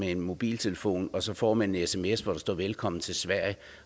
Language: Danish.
en mobiltelefon og så får man en sms hvor der står velkommen til sverige